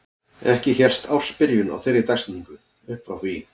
Ekki hélst ársbyrjun á þeirri dagsetningu upp frá því.